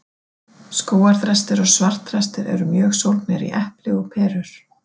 Skógarþrestir og svartþrestir eru mjög sólgnir í epli og perur.